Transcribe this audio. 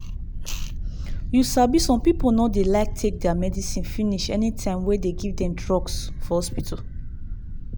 you sabi some people no de like take deir medicine finish anytime wey dem give dem drugs for hospital.